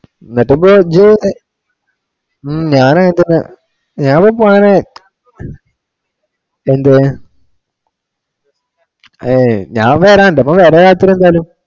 എന്നിട്ടിപ്പോ ഇജ്ജ് ഉം ഞാൻ അങ്ങോട്ട് ഞാൻ വരണ് മോനെ എന്തിനു? ഏയ് ഞാൻ വേറെ വരേണ്ട ഇപ്പൊ വേറെ വരാത്തത് എന്താണ്?